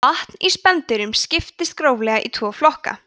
vatn í spendýrum skiptist gróflega í tvo flokka